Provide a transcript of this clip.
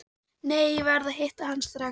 Nei, ég verð að hitta hann strax.